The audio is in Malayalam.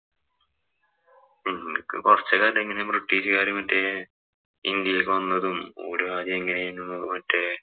ഉം എനക്ക് കൊറച്ച് കാര്യങ്ങള് ബ്രിട്ടീഷുകാര് മറ്റേ ഇന്‍ഡ്യയിലേക്ക് വന്നതും, മറ്റേ